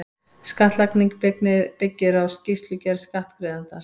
Skattlagning byggir á skýrslugerð skattgreiðandans.